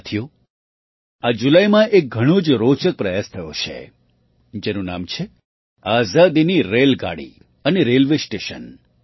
સાથીઓ આ જુલાઈમાં એક ઘણો જ રોચક પ્રયાસ થયો છે જેનું નામ છે આઝાદીની રેલગાડી અને રેલવે સ્ટેશન